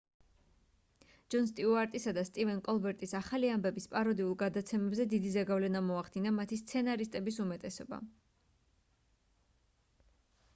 ჯონ სტიუარტისა და სტივენ კოლბერტის ახალი ამბების პაროდიულ გადაცემებზე დიდი ზეგავლენა მოახდინა მათი სცენარისტების უმეტესობამ